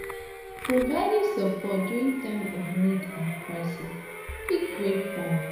Providing support during time of need and crisis fit create bond